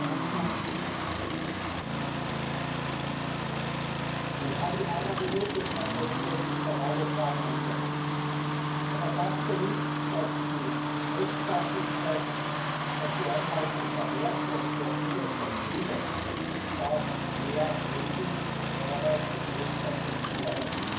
En este tiempo ha faltado coraje y valentía, ha faltado liderazgo para agarrar fuerte el timón de la Unión Europea y no permitir la deriva. Pero a pesar de algunos populistas y de la extrema derecha, Europa sigue más viva que nunca y es más necesaria también para hacer frente a los desafíos.